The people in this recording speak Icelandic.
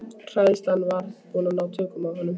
Hræðslan var að ná tökum á honum.